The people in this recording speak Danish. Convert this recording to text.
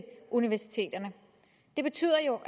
universiteterne det betyder jo